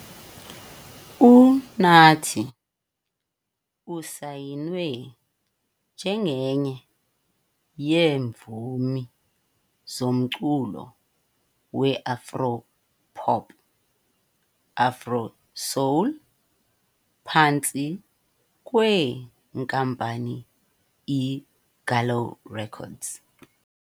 UNathi usayinwe njengenye yeemvumi zomculo weAfro Pop - Afro Soul phantsi kweNkampani iGallo Records.